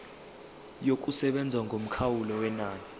yokusebenza yomkhawulo wenani